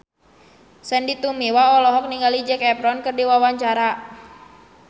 Sandy Tumiwa olohok ningali Zac Efron keur diwawancara